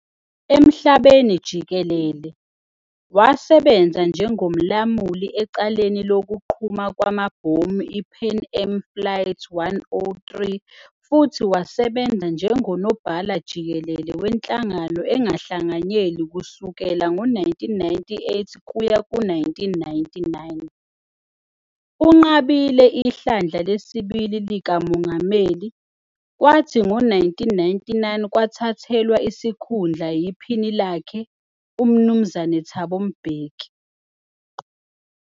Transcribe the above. Emhlabeni jikelele, wasebenza njengomlamuli ecaleni lokuqhuma kwamabhomu iPan Am Flight 103 futhi wasebenza njengoNobhala-Jikele weNhlangano Engahlanganyeli kusukela ngo-1998 kuya ku-1999. Unqabile ihlandla lesibili likamongameli, kwathi ngo-1999 kwathathelwa isikhundla yiphini lakhe, uMnuz Thabo Mbeki.